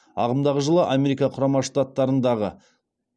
ағымдағы жылы америка құрама штаттарындағы